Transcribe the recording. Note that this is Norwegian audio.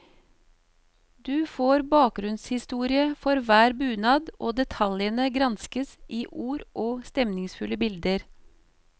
Du får bakgrunnshistorie for hver bunad og detaljene gransket i ord og stemningsfulle bilder.